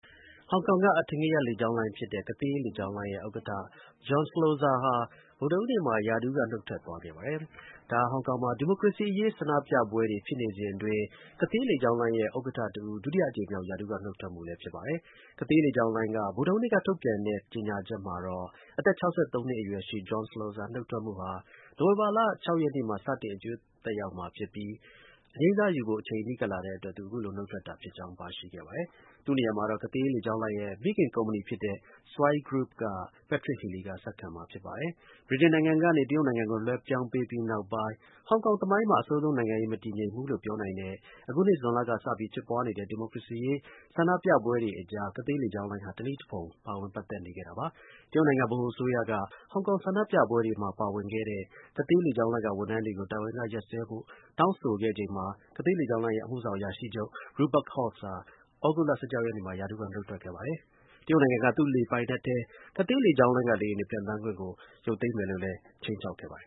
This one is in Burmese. ဟောင်ကောင်က အထင်ကရ လေကြောင်းလိုင်းဖြစ်တဲ့ Cathay လေကြောင်းလိုင်းရဲ့ ဥက္ကဌ John Slosar ဟာ ဗုဒ္ဓဟူးနေ့မှာ ရာထူးက နုတ်ထွက်သွားခဲ့ပါတယ်။ ဒါဟာ ဟောင်ကောင်မှာ ဒီမိုကရေစီ အရေး ဆန္ဒပြပွဲတွေ ဖြစ်နေစဉ်အတွင်း Cathay လေကြောင်းလိုင်းရဲ့ ဥက္ကဌတစ်ဦး ဒုတိယအကြိမ်မြောက် ရာထူးက နုတ်ထွက်မှုလည်း ဖြစ်ပါတယ်။ Cathay လေကြောင်းလိုင်းက ဗုဒ္ဓဟူးနေ့က ထုတ်ပြန်တဲ့ ကြေညာချက်မှာတော့ အသက် ၆၃ နှစ် အရွယ်ရှိ John Slosar နုတ်ထွက်မှုဟာ နိုဝင်ဘာလ ၆ ရက်နေ့မှာ စတင် အကျိုးသက်ရောက်မှာ ဖြစ်ကြောင်းနဲ့ အငြိမ်းစားယူဖို့ အချိန်နီးကပ်လာတဲ့အတွက် သူ အခုလို နုတ်ထွက်တာဖြစ်ကြောင်း ပါရှိခဲ့ပါတယ်။ သူနေရာမှာတော့ Cathay လေကြောင်းလိုင်းရဲ့ မိခင် ကုမ္ပဏီဖြစ်တဲ့ Swire Group က Patrick Healy က ဆက်ခံမှာဖြစ်ပါတယ်။ ဗြိတိန်နိုင်ငံကနေ တရုတ်နိုင်ငံကို လွှဲပြောင်းပေးပြီးနောက်ပိုင်း ဟောင်ကောင် သမိုင်းမှာ အဆိုးဆုံး နိုင်ငံရေး မတည်ငြိမ်မှုလို့ ပြောနိုင်တဲ့ အခုနှစ် ဇွန်လကစပြီး ဖြစ်ပွားနေတဲ့ ဒီမိုကရေစီရေး ဆန္ဒပြမှုတွေအကြား Cathay လေကြောင်းလိုင်းဟာ တစ်နည်းတစ်ဖုံ ပါဝင်ပတ်သက်နေခဲ့ပါတယ်။ တရုတ်နိုင်ငံ ဗဟို အစိုးရက ဟောင်ကောင် ဆန္ဒပြပွဲတွေမှာ ပါဝင်တဲ့ Cathay လေကြောင်းလိုင်းက ဝန်ထမ်းတွေကို တာဝန်က ရပ်စဲဖို့ တောင်းဆိုခဲ့ချိန်မှာ Cathay လေကြောင်းလိုင်းရဲ့ အမှုဆောင် အရာရှိချုပ် Rupert Hogg ဟာ သြဂုတ်လ ၁၆ ရက်နေ့မှာ ရာထူးက နုတ်ထွက် ခဲ့ပါတယ်။ တရုတ်နိုင်ငံက သူ့ လေပိုင်နက်ထဲ Cathay လေကြောင်းလိုင်းက လေယာဉ်တွေ ပျံသန်းခွင့်ကို ရုပ်သိမ်းမယ်လို့လည်း ခြိမ်းခြောက်ခဲ့ပါတယ်